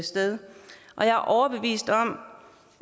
sted jeg er overbevist om